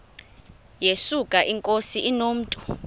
yesuka inkosi inomntu